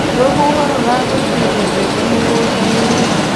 Rũhuho rũragũithirie mbembe mũgũndainĩ.